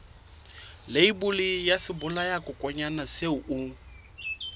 leibole ya sebolayakokwanyana seo o